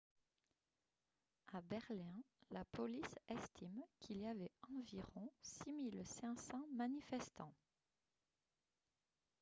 à berlin la police estime qu'il y avait environ 6 500 manifestants